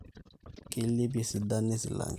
keilepie esidano e silanke